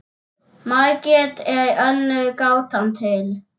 Margrét er önnur gátan til.